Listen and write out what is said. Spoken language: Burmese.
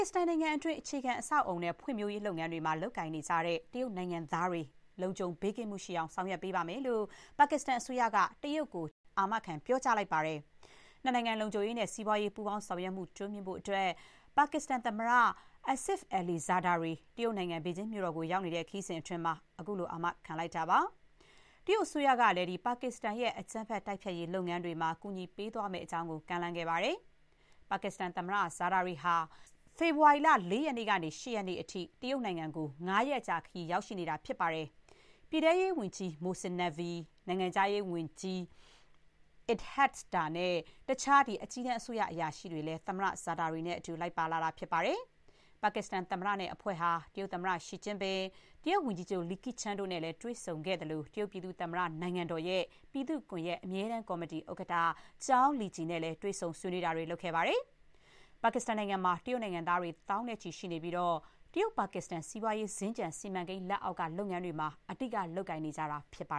စ္စတန်နိုင်ငံအတွင်း အခြေခံ အဆောက်အအုံ နဲ့ ဖွံ့ဖြိုးရေး လုပ်ငန်းတွေမှာ လုပ်ကိုင်နေကြတဲ့ တရုတ်နိုင်ငံသားတွေ လုံခြုံမှု ရှိအောင် ဆောင်ရွက်ပေးပါမယ်လို့ ပါကစ္စတန်အစိုးရက တရုတ်ကို အာမခံ ပြောကြားလိုက်ပါတယ်။ နှစ်နိုင်ငံ လုံခြုံရေးနဲ့ စီးပွားရေး ပူးပေါင်း ဆောင်ရွက်မှု တိုးမြှင့်ဖို့အတွက် ပါကစ္စတန် သမ္မတ Asif Ali Zardari တရုတ်နိုင်ငံ ဘေဂျင်းမြို့တော်ကို ရောက်နေတဲ့ ခရီးစဥ်အတွင်း ခုလို အာမခံခဲ့တာပါ။ တရုတ်အစိုးရကလည်း ပါကစ္စတန်ရဲ့ အကြမ်းဖက် တိုက်ဖျက်ရေး လုပ်ငန်းတွေမှာ ကူညီပေးသွားမယ့်အကြောင်း ကမ်းလှမ်းခဲ့ပါတယ်။ ပါကစ္စတန် သမ္မတ ဇာဒါရီ ဟာ ဖေဖေါ်ဝါရီလ ၄ ရက်နေ့ကနေ ၈ ရက်နေ့အထိ တရုတ်နိုင်ငံကို ၅ ရက်ကြာခရီး ရောက်နေတာပါ။ ပြည်ထဲရေးဝန်ကြီး မိုဆင် နက်ဗီ Mohsin Naqvi ၊ နိုင်ငံခြားရေးဝန်ကြီး အစ်ဟက် ဒါ နဲ့ တခြား အကြီးတန်း အစိုးရ အရာရှိတွေလည်း သမ္မတ ဇာဒါရီနဲ့တူ လိုက်ပါလာတာပါ။ ပါကစ္စတန် သမ္မတနဲ့ အဖွဲ့ဟာ တရုတ်သမ္မတ Xi Jinping ၊ တရုတ်ဝန်ကြီးချုပ် Li Qiang တို့နဲ့ တွေ့ဆုံခဲ့သလို၊ တရုတ်ပြည်သူ့သမ္မတ နိုင်ငံတော်ရဲ့ ပြည်သူ့ကွန်ဂရက် အမြဲတမ်း ကော်မတီ ဥက္ကဋ္ဌ ကျောင်း လီဂျီ Zhao Leji နဲ့လည်း တွေ့ဆုံ ဆွေးနွေးခဲ့တာပါ။ ပါကစ္စတန်နိုင်ငံမှာ တရုတ်နိုင်ငံသားတွေ သောင်းနဲ့ချီ ရှိနေပြီး တရုတ်−ပါကစ္စတန် စီးပွားရေး စင်္ကြန် စီမံကိန်း လက်အောက်က လုပ်ငန်းတွေမှာ အဓိက အလုပ် လုပ်နေကြတာ ဖြစ်ပါ